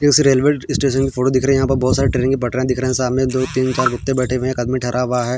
एक railway station की photo दिख रही है यहाँ पर बोहोत सारी ट्रैन की पटरिया दिख रही है सामने दो तीन चार आदमी बैठे हुए है एक आदमी ठहरा हुआ है.